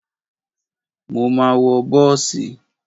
Mo ma wọ bọ́ọ̀sì.